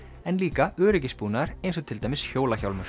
en líka öryggisbúnaður eins og til dæmis